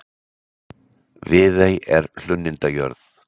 Viðey er hlunnindajörð.